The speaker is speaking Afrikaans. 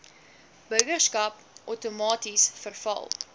burgerskap outomaties verval